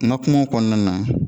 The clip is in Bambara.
N ka kumaw kɔnɔna na